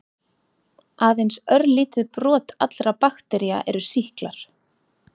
Aðeins örlítið brot allra baktería eru sýklar.